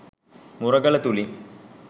මුරගල තුළින්